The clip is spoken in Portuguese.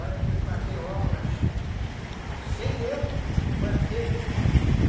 Olha que eu fazia obras sem eu fazer.